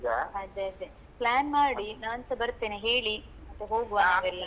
ಹಾ ಅದೇ ಅದೇ plan ಮಾಡಿ ನಾನ್ಸ ಬರ್ತೇನೆ ಹೇಳಿ ಮತ್ತೇ ಹೋಗುವ ನಾವೆಲ್ಲರು.